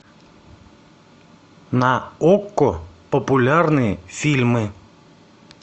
на окко популярные фильмы